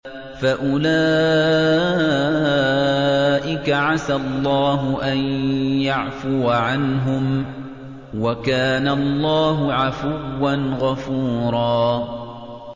فَأُولَٰئِكَ عَسَى اللَّهُ أَن يَعْفُوَ عَنْهُمْ ۚ وَكَانَ اللَّهُ عَفُوًّا غَفُورًا